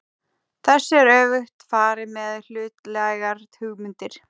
Þessu er öfugt farið með hlutlægar hugmyndir.